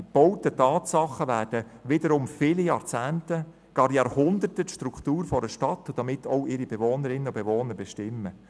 Die gebauten Tatsachen werden viele Jahrzehnte, gar Jahrhunderte die Struktur einer Stadt und ihre Bewohnerinnen und Bewohner prägen.